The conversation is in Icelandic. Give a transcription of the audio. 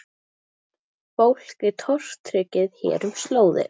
Fólk er tortryggið hér um slóðir